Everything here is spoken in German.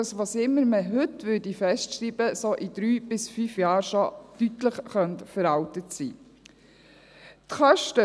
Was auch immer man heute festschreiben würde, es könnte in drei bis fünf Jahren schon deutlich veraltet sein.